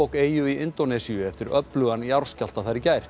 eyju í Indónesíu eftir öflugan jarðskjálfta þar í gær